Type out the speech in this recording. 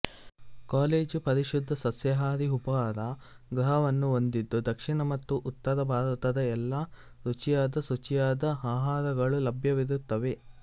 college ಪರಿಶುದ್ದ ಸಸ್ಯಹಾರಿ ಉಪಹಾರ ಗೃಹವನ್ನು ಹೊಂದಿದ್ದು ದಕ್ಷಿಣ ಮತ್ತು ಉತ್ತರ ಭಾರತದ ಎಲ್ಲಾ ರುಚಿಯಾದಶುಚಿಯಾದ ಆಹಾರಗಳು ಲಭ್ಯವಿರುತ್ತವೆ